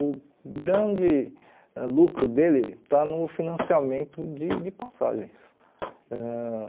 O grande ãh lucro dele está no financiamento de de passagens. Ãh